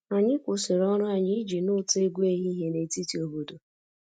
Anyị kwụsịrị ọrụ anyị iji nụ ụtọ egwu ehihie na etiti obodo